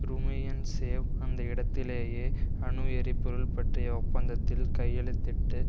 Rumyantsev அந்த இடத்திலேயே அணு எரிபொருள் பற்றிய ஒப்பந்தத்தில் கையெழுத்திட்டு